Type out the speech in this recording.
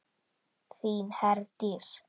Þín Herdís.